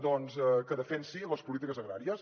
doncs que defensi les polítiques agràries